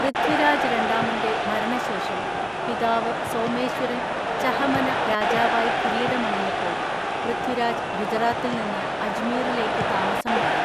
പൃഥ്വിരാജ് രണ്ടാമന്റെ മരണശേഷം പിതാവ് സോമേശ്വരൻ ചഹമന രാജാവായി കിരീടമണിഞ്ഞപ്പോൾ പൃഥ്വിരാജ് ഗുജറാത്തിൽ നിന്ന് അജ്മീറിലേക്ക് താമസം മാറി.